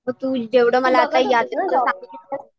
मग तू मला जेवढं